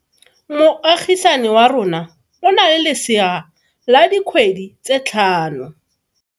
Moagisane wa rona o na le lesea la dikgwedi tse tlhano.